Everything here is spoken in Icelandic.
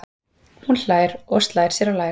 Hún hlær og slær sér á lær.